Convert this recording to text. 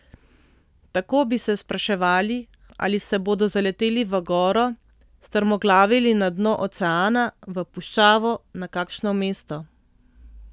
Tako bi se spraševali, ali se bodo zaleteli v goro, strmoglavili na dno oceana, v puščavo, na kakšno mesto ...